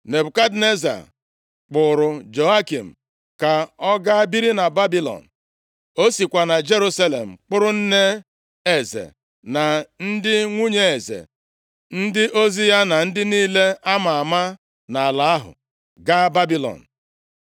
Nebukadneza kpụụrụ Jehoiakin ka ọ ga biri na Babilọn. O sikwa na Jerusalem kpọrọ nne eze, na ndị nwunye eze, ndị ozi ya, na ndị niile a ma ama nʼala ahụ gaa Babilọn.